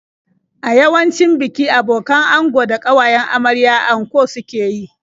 A yawancin biki abokan ango da ƙawayen amarya anko suke yi.